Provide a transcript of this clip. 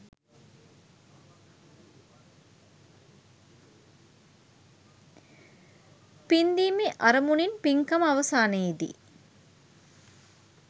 පින්දීමේ අරමුණින් පින්කම අවසානයේ දී